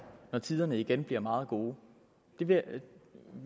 når tiderne igen bliver meget gode